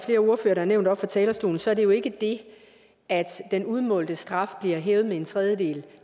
har nævnt oppe fra talerstolen er det jo ikke det at den udmålte straf bliver hævet med en tredjedel